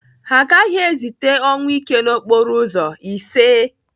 Ha agaghị ezite ọnwụike n'okporo ụzọ, iseee!